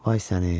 Vay səni.